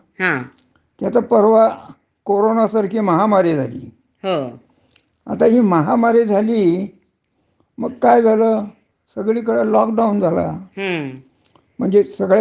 म्हणजे सगळ्या कंपन्याच बंद पडल्या. हो. सगळे तुम्ही घरीच बसून काम करा अशी सुरुवात झाली. हा. आता ज्या कंपन्यानमध्ये, हा.